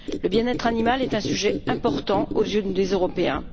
Le bien être animal est un sujet important aux yeux des Européens.